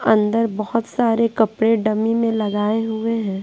अंदर बहुत सारे कपड़े डमी में लगाए हुए हैं।